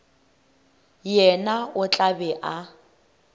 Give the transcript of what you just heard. yena o tla be a